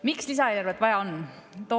Miks lisaeelarvet vaja on?